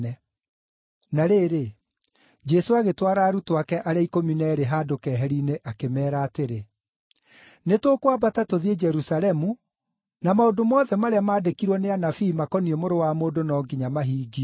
Na rĩrĩ, Jesũ agĩtwara arutwo ake arĩa ikũmi na eerĩ handũ keheri-inĩ akĩmeera atĩrĩ, “Nĩtũkwambata tũthiĩ Jerusalemu, na maũndũ mothe marĩa maandĩkirwo nĩ anabii makoniĩ Mũrũ wa Mũndũ no nginya mahingio.